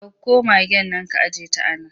Dauko magaen nan ka ajiyeta a nan!